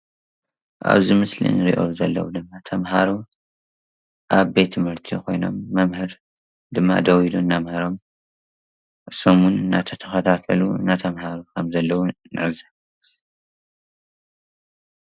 ኣብዚ ምስሊ እንርእዮም ዘለው ድማ ተማሃሮ ኣብ ቤት ትምህርቲ ኮይኖም መምህር ድማ ደው ኢሉ እናምሀሮም ንሶም እውን እንዳተከታተሉ እንዳተማሃሩ ከም ዘለው ንዕዘብ።